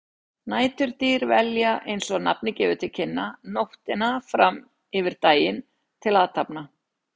Næturdýr velja, eins og nafnið gefur til kynna, nóttina fram yfir daginn til athafna.